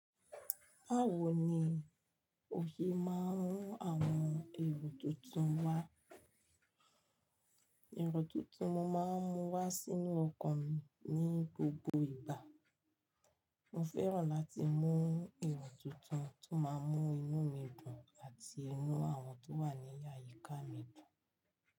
Báwo ni osè máa ń mú àwọn èrò tuntun wá? Ẹ̀rọ tuntun mo máa ń mú wá sínú ọkan mi ní gbogbo ìgbà. Mo fẹ́ràn láti mú èrò tuntun tó máa mú inú mi dùn àti inú àwọn tó wà ní àyíká mi dùn.